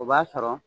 O b'a sɔrɔ